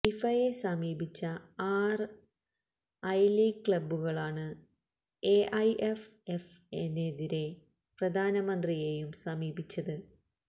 ഫിഫയെ സമീപിച്ച ആറ് I league ക്ലബ്ബുകളാണ് എഎൈഎഫ്എഫിനെതിരെ പ്രധാനമന്ത്രിയെയും സമീപിച്ചത്